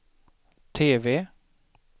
TV